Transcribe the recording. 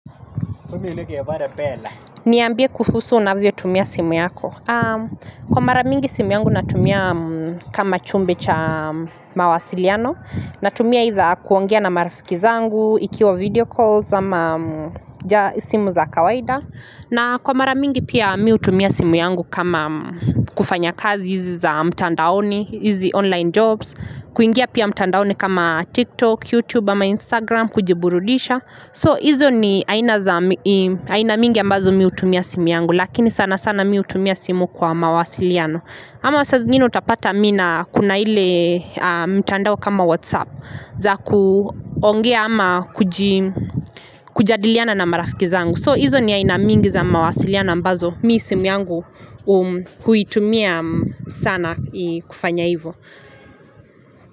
Umiileke ya bara bela. Niambie kuhusu unavyo tumia simu yako. Kwa maramingi simu yangu natumia kama chombo cha mawasiliano. Natumia kuongea na marafiki zangu, ikiwa video calls ama simu za kawaida. Na kwa maramingi pia mimi hutumia simu yangu kama kufanya kazi hizi za mtandaoni, hizi online jobs. Kuingia pia mtandaoni kama TikTok, YouTube, ama Instagram, kujiburudisha. So hizo ni aina mingi ambazo mimi hutumia simu yangu lakini sana sana mimi hutumia simu kwa mawasiliano Ama saa zingine utapata mimi na kuna hile mtandao kama whatsapp za kuongea ama kujadiliana na marafiki zangu So hizo ni aina mingi za mawasiliano ambazo mimi simu yangu huitumia sana kufanya hivo.